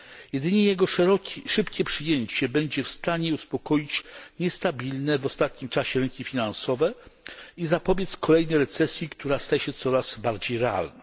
Jedynie jego szybkie przyjęcie będzie w stanie uspokoić niestabilne w ostatnim czasie rynki finansowe i zapobiec kolejnej recesji, która staje się coraz bardziej realna.